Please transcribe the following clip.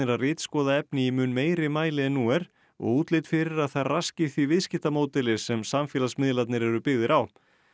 að ritskoða efni í mun meiri mæli en nú er og útlit fyrir að þær raski því viðskiptamódeli sem samfélagsmiðlarnir eru byggðir á